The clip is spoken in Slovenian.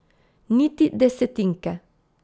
Niti desetinke!